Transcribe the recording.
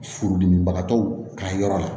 Furudimibagatɔw ka yɔrɔ la